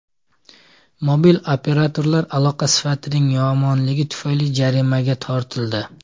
Mobil operatorlar aloqa sifatining yomonligi tufayli jarimaga tortildi.